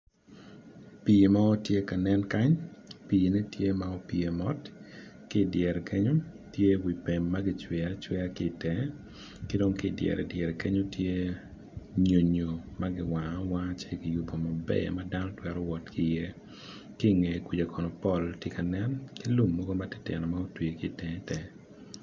Pi mo tye ka nen kany pi ne tye ka pye mot kidyere kenyo tye wi pem magicweyo acweya kidong kidyere dyerre kenyo tye nyonyo giwango awanga ci giyubo maber madano twero wot ki ye kinge kuca kono pol tye ka nen ki lum mogo matitino ma otwi kitenge tenge.